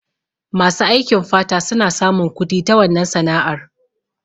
Masu aikin fata suna samun kudi ta wannan sana'ar